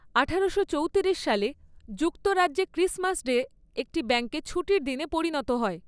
আঠারোশো চৌতিরিশ সালে যুক্তরাজ্যে ক্রিসমাস ডে একটি ব্যাংক ছুটির দিনে পরিণত হয়।